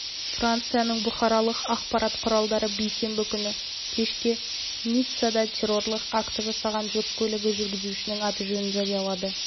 францияның бұқаралық ақпарат құралдары бейсенбі күні кешке ниццада террорлық акті жасаған жүк көлігі жүргізушісінің аты-жөнін жариялады